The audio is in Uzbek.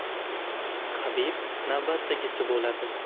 Habib navbatdagisi bo‘ladi.